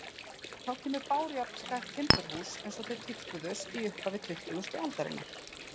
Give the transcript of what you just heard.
Þá kemur bárujárnsklætt timburhús eins og þau tíðkuðust í upphafi tuttugustu aldarinnar.